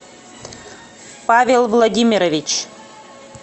павел владимирович